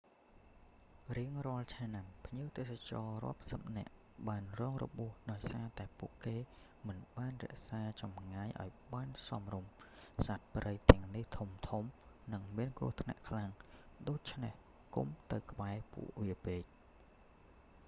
រៀងរាល់ឆ្នាំ ភ្ញៀវទេសចរណ៍រាប់សិបនាក់បានរងរបួសដោយសារតែពួកគេមិនបានរក្សាចម្ងាយអោយបានសមរម្យ សត្វព្រៃទាំងនេះធំៗ និងមានគ្រោះថ្នាក់ខ្លាំងណាស់ ដូច្នេះកុំទៅក្បែរពួកវាពេក